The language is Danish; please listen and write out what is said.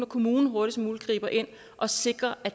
kommunen hurtigst muligt griber ind og sikrer at